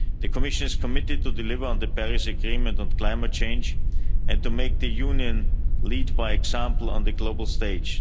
The Commission is committed to delivering on the Paris Agreement on climate change and to making the Union lead by example on the global